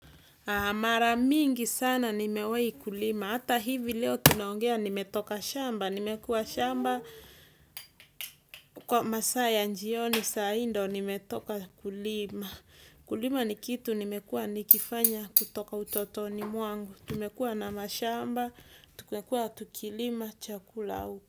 Mara mingi mingi sana nimewahi kulima hata hivi leo tunaongea nimetoka shamba nimekuwa shamba kwa masaa ya jioni saa hii ndio nimetoka kulima. Kulima ni kitu nimekua nikifanya kutoka utotoni mwangu. Tumekua na mashamba. Tumekuwa tukilima chakula.